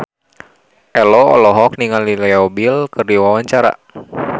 Ello olohok ningali Leo Bill keur diwawancara